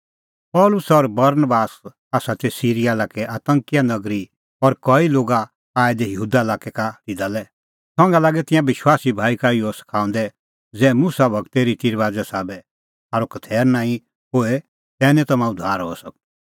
पल़सी और बरनबास आसा तै सिरीया लाक्कै अन्ताकिया नगरी और कई लोग आऐ यहूदा लाक्कै का तिधा लै संघा लागै तिंयां विश्वासी भाई का इहअ सखाऊंदै ज़ै मुसा गूरे रिती रबाज़े साबै थारअ खतैर नांईं होए तै निं तम्हां उद्धार हई सकदअ